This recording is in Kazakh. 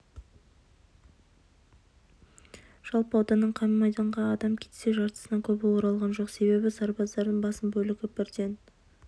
жалпы ауданнан қан майданға адам кетсе жартысынан көбі оралған жоқ себебі сарбаздардың басым бөлігі бірден